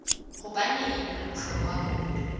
hobaneng ho le bohlokwa ho